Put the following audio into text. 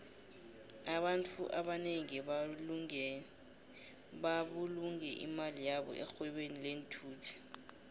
abantfu abanengi babulunge imali yabo erhwebeni lenthuthi